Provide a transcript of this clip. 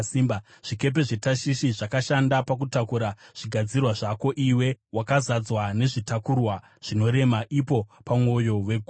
“ ‘Zvikepe zveTashishi zvakashanda pakutakura zvigadzirwa zvako. Iwe wakazadzwa nezvitakurwa zvinorema, imo mumwoyo megungwa.